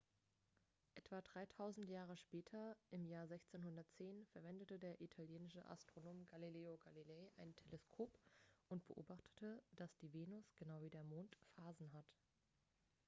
etwa dreitausend jahre später im jahr 1610 verwendete der italienische astronom galileo galilei ein teleskop und beobachtete dass die venus genau wie der mond phasen hat